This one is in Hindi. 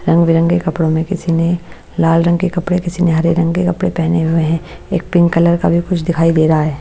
रंग बिरंगे के कपड़ों में किसी ने लाल रंग के कपड़े किसी ने हरे रंग के कपड़े पहने हुए हैं एक पिंक कलर का भी कुछ दिखाई दे रहा है।